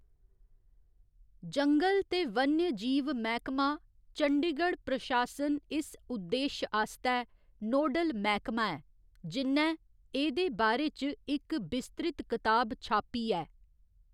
जंगल ते वन्यजीव मैह्‌‌‌कमा, चंडीगढ़ प्रशासन इस उद्देश आस्तै नोडल मैह्‌‌‌कमा ऐ, जि'न्नै एह्‌‌‌दे बारे च इक बिस्तृत कताब छापी ऐ।